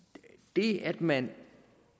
det at man